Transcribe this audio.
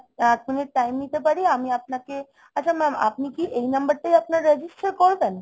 এক minute time নিতে পারি? আমি আপনাকে আচ্ছা mam আপনি কি এই number টায় আপনার register করবেন?